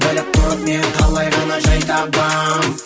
біліп тұрып мен қалай ғана жай табам